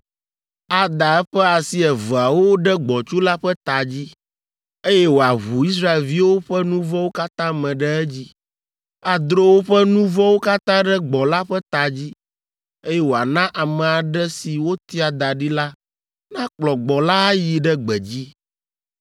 Ada eƒe asi eveawo ɖe gbɔ̃tsu la ƒe ta dzi, eye wòaʋu Israelviwo ƒe nu vɔ̃wo katã me ɖe edzi. Adro woƒe nu vɔ̃wo katã ɖe gbɔ̃ la ƒe ta dzi, eye wòana ame aɖe si wotia da ɖi la nakplɔ gbɔ̃ la ayi ɖe gbedzi.